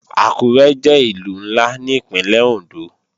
Àkúré jẹ́ Ìlú ńlá ní Ìpínlẹ̀ Òndó